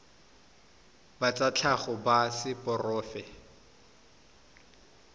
ba tsa tlhago ba seporofe